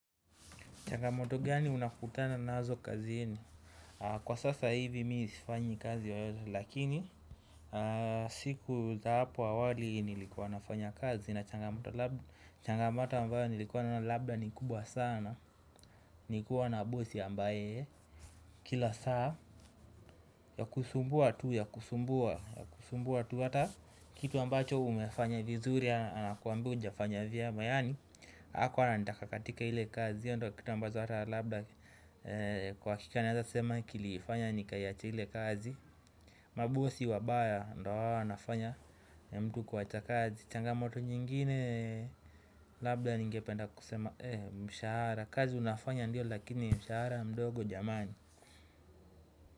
Changamoto gani unakutana nazo kazini? Kwa sasa hivi mi sfanyi kazi yeyote. Lakini, siku za hapo awali, nilikuwa nafanya kazi, na changamoto changamoto ambayo nilikuwa nayo labda ni kubwa sana, nikuwa na bosi ambaye, kila saa, ya kusumbua tu ya kusumbua. Kitu ambacho umefanya vizuri anakuambia hujafanya vyema, yaani hakua ananitaka katika ile kazi, io ndio kitu ambacho ata labda, kwa hakika, naeza sema kilifanya nikaiacha ile kazi, mabosi wabaya ndio hawa wanafanya mtu kuacha kazi. Changamoto nyingine, labda ningependa kusema eeh, mshahara. Kazi unafanya ndio, lakini mshahara mdogo, jamani.